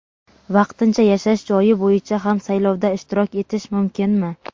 Vaqtincha yashash joyi bo‘yicha ham saylovda ishtirok etish mumkinmi?.